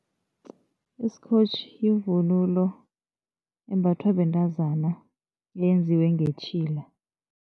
Isikotjhi yivunulo embathwa bentazana yenziwe ngetjhila.